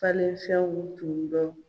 Falenfɛnw tun bɛ